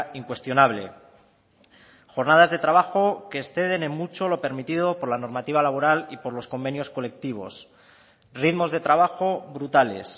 incuestionable jornadas de trabajo que exceden en mucho lo permitido por la normativa laboral y por los convenios colectivos ritmos de trabajo brutales